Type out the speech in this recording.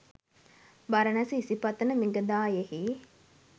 Baranasa Isipatana මිගදායෙහි